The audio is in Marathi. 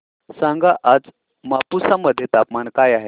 सांगा आज मापुसा मध्ये तापमान काय आहे